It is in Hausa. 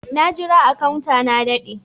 Na jira a " counter" na dade.